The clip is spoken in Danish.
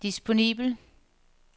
disponibel